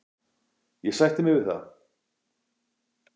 Ég sætti mig við það.